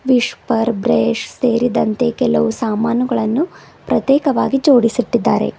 ವಿಶ್ಯಪರ್ brush ಸೇರಿದಂತೆ ಕೆಲವು ಸಾಮಾನುಗಳನ್ನು ಪ್ರತೇಕವಾಗಿ ಜೋಡಿಸಿಟ್ಟಿದ್ದಾರೆ